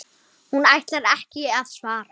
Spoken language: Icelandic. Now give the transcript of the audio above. Hún ætlar ekki að svara.